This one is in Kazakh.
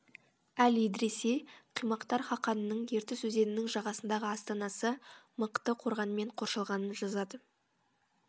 әл идриси қимақтар хақанының ертіс өзенінің жағасындағы астанасы мықты қорғанмен қоршалғанын жазады